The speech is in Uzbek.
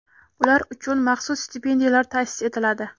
Ular uchun maxsus stipendiyalar ta’sis etiladi.